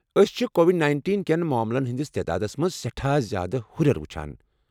أسۍ چھِ Covid nineteen کین ماملن ہنٛدس تعدادس منٛز سیٹھاہ زیادٕ ہُرٮ۪ر وُچھان۔